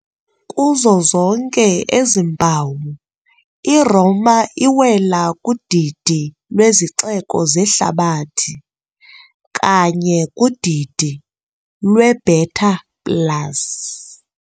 Kuzo zonke ezi mpawu, iRoma iwela kudidi lwezixeko zehlabathi, kanye kudidi "lweBeta plus".